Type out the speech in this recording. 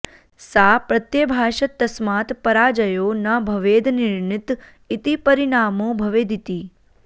सा प्रत्यभाषत तस्मात् पराजयो न भवेदनिर्णित इति परिणामो भवेदिति